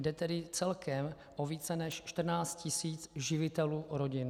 Jde tedy celkem o více než 14 tisíc živitelů rodin.